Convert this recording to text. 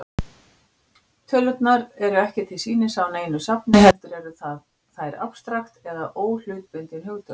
Tölurnar eru ekki til sýnis á neinu safni, heldur eru þær afstrakt eða óhlutbundin hugtök.